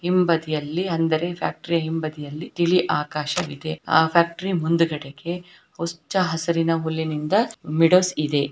ಹಿಂಬದಿಯಲ್ಲಿ ಅಂದರೆ ಫ್ಯಾಕ್ಟರಿಯ ಹಿಂಬದಿಯಲ್ಲಿ ತಿಳಿ ಆಕಾಶವಿದೆ ಆ ಫ್ಯಾಕ್ಟರಿ ಮುಂದುಗಡೆಗೆ ಹುಚ್ಚ ಹಸಿರಿನ ಹೂಲ್ಲಿನಿಂದ ಇದೆ .